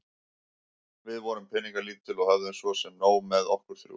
Við vorum peningalítil og höfðum svo sem nóg með okkur þrjú.